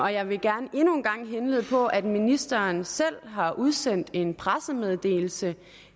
jeg vil gerne endnu en gang henlede opmærksomheden på at ministeren selv har udsendt en pressemeddelelse